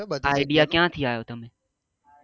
એ idea ક્યાં થી આવ્યો તમને